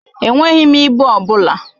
Enweghị m ịbụ ọ bụla.